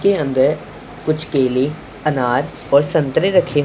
के अंदर कुछ केले अनार और संतरे रखे--